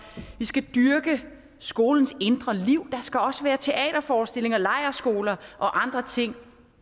og vi skal dyrke skolernes indre liv der skal også være teaterforestillinger lejrskoler og andre ting